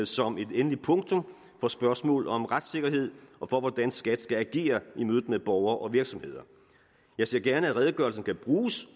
som et endeligt punktum for spørgsmålet om retssikkerhed og for hvordan skat skal agere i mødet med borgere og virksomheder jeg ser gerne at redegørelsen kan bruges